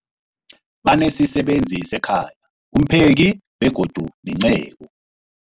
Banesisebenzi sekhaya, umpheki, begodu nenceku.